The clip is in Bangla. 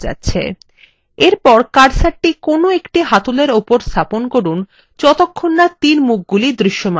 এরপর কার্সারটি কোনো একটি হাতলএর উপর স্থাপন করুন যতক্ষণ না তীরমুখগুলি দৃশ্যমান হচ্ছে